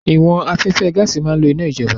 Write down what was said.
Ìwọ̀n afẹ́fẹ́ gaàsì máa ń lò iná ìjọba